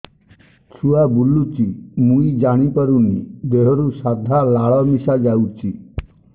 ଛୁଆ ବୁଲୁଚି ମୁଇ ଜାଣିପାରୁନି ଦେହରୁ ସାଧା ଲାଳ ମିଶା ଯାଉଚି